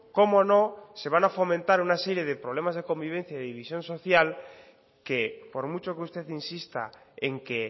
cómo no se van a fomentar una serie de problemas de convivencia y división social que por mucho que usted insista en que